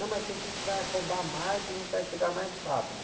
Não, mas é que a gente vai rodar mais e a gente vai chegar mais rápido.